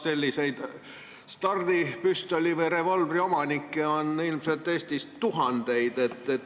Selliseid stardipüstoli või -revolvri omanikke on Eestis ilmselt tuhandeid.